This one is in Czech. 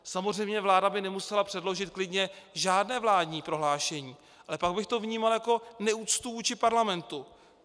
Samozřejmě vláda by nemusela předložit klidně žádné vládní prohlášení, ale pak bych to vnímal jako neúctu vůči parlamentu.